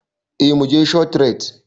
Eh muje shofrait